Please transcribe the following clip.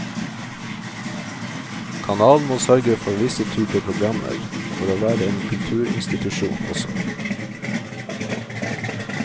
Kanalen må sørge for visse typer programmer, for å være en kulturinstitusjon også.